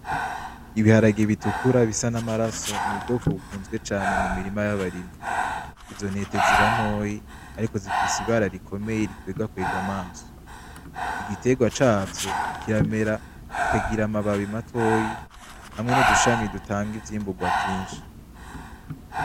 Ibiharage bitukura bisa n’amaraso n’ubwoko bukunzwe cane mu mirima y’abarimyi. Izo ntete ziba ntoyi ariko zifise ibara rikomeye rikwegakwega amaso .Igitegwa cavyo kiramera kikagira amababi matoyi hamwe n’udushami dutanga ivyimbugwa vyinshi.